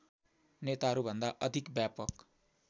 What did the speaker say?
नेताहरूभन्दा अधिक व्यापक